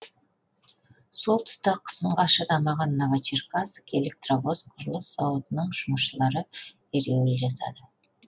сол тұста қысымға шыдамаған новочеркасск электровоз құрылыс зауытының жұмысшылары ереуіл жасады